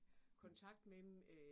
Mh